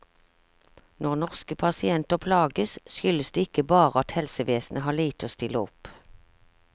Når norske pasienter plages, skyldes det ikke bare at helsevesenet har lite å stille opp.